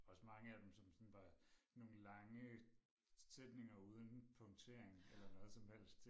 Også mange af dem som sådan var nogen lange sætninger uden punktering eller noget som helst